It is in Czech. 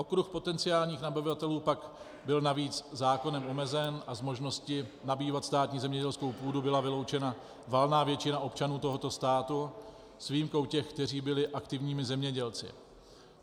Okruh potenciálních nabyvatelů pak byl navíc zákonem omezen a z možnosti nabývat státní zemědělskou půdu byla vyloučena valná většina občanů tohoto státu s výjimkou těch, kteří byli aktivními zemědělci.